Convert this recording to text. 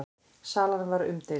Salan var umdeild.